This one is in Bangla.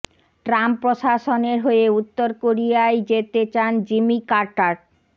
ট্রাম্প প্রশাসনের হয়ে উত্তর কোরিয়ায় যেতে চান জিমি কার্টার